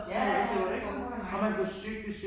Ja ja, der foregår da mange ting